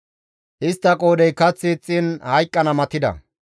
Istta qoodhey kath ixxiin hayqqana matida.